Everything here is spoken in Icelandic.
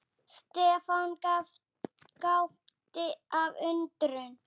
Stefán gapti af undrun.